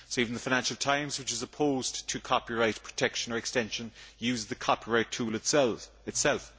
Even the Financial Times which is opposed to copyright protection or extension, uses the copyright tool itself!